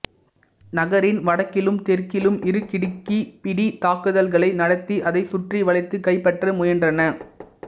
நகரின் வடக்கிலும் தெற்கிலும் இரு கிடுக்கிப்பிடித் தாக்குதல்களை நடத்தி அதை சுற்றி வளைத்துக் கைப்பற்ற முயன்றன